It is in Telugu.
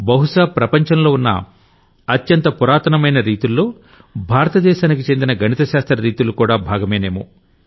బహుశా ప్రపంచంలో ఉన్న అత్యంత పురాతనమైన రీతుల్లో భారత దేశానికి చెందిన గణిత శాస్త్ర రీతులుకూడా భాగమేనేమో